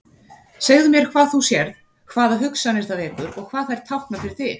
Segðu mér hvað þú sérð, hvaða hugsanir það vekur og hvað þær tákna fyrir þig.